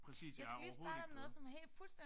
Præcis jeg er overhovedet ikke bedre